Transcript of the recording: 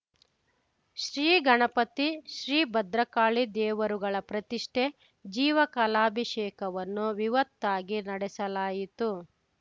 ಶ್ರೀ ಗಣಪತಿ ಶ್ರೀ ಭದ್ರಕಾಳಿ ದೇವರುಗಳ ಪ್ರತಿಷ್ಠೆ ಜೀವಕಲಾಭಿಷೇಕವನ್ನು ವಿವತ್ತಾಗಿ ನಡೆಸಲಾಯಿತು